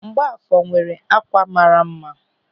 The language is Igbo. Mgbafọ nwere ákwà mara mma.